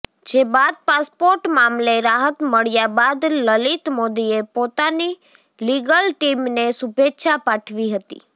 જે બાદ પાસપોર્ટ મામલે રાહત મળ્યા બાદ લલિત મોદીએ પોતાની લીગલ ટીમને શુભેચ્છા પાઠવી હતી